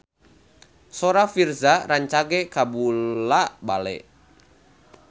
Sora Virzha rancage kabula-bale